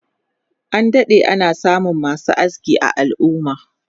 An dade ana samun masu aski a al'umma.